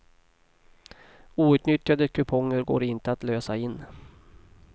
Outnyttjade kuponger går inte att lösa in.